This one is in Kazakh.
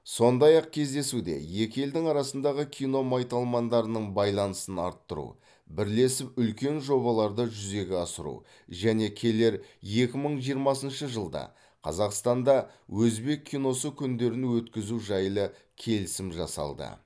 сондай ақ кездесуде екі елдің арасындағы кино майталмандарының байланысын арттыру бірлесіп үлкен жобаларды жүзеге асыру және келер екі мың жиырмасыншы жылда қазақстанда өзбек киносы күндерін өткізу жайлы келісім жасалды